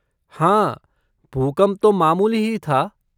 हाँ, भूकंप तो मामूली ही था।